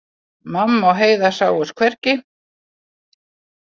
Mamma og Heiða sáust hvergi.